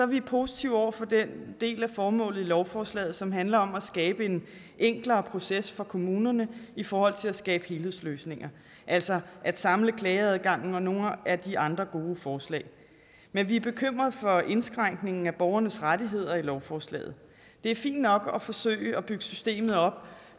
vi positive over for den del af formålet med lovforslaget som handler om at skabe en enklere proces for kommunerne i forhold til at skabe helhedsløsninger altså at samle klageadgangen og nogle af de andre gode forslag men vi er bekymrede for indskrænkningen af borgernes rettigheder i lovforslaget det er fint nok at forsøge at bygge systemet op